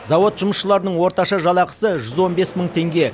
зауыт жұмысшыларының орташа жалақысы жүз он бес мың теңге